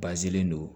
Bazɛn don